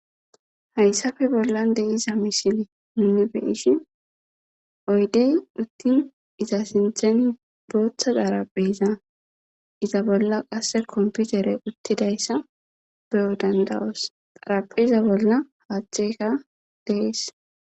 Hayssafe bollan deiza misili nunne beishi oydey uttin iza sintheni booththa darapheza iza bolla qasse komputere uttidayssa beyo dandawos xarapheza bolla haaththeka dees.